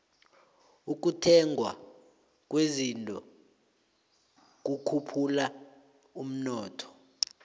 ukuthengwa kwezinto kukhuphula umnotho